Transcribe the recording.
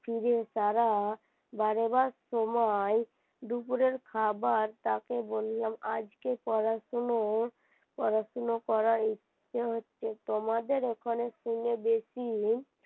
সিঁড়ির দ্বারা বেরোবার সময় দুপুরের খাবার তাকে বললাম আজকে পড়াশুনোর পড়াশোনা করার ইচ্ছা হচ্ছে তোমাদের ওখানে বেশি